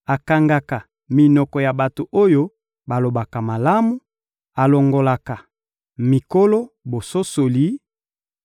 akangaka minoko ya bato oyo balobaka malamu, alongolaka mikolo bososoli;